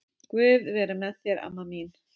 Guð veri með þér amma mín.